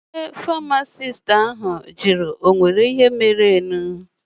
Onye famasisti jụrụ mụ ihe mere mụ.